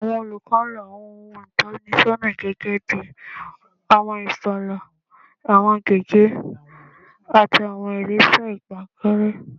Awọn olukọ lo awọn ohun itọnisọna gẹgẹbi awọn ifààlà, awọn gègé, ati awọn iresa ipankanre